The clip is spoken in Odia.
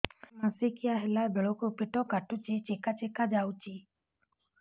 ମାସିକିଆ ହେଲା ବେଳକୁ ପେଟ କାଟୁଚି ଚେକା ଚେକା ଯାଉଚି